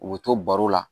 U bɛ to baro la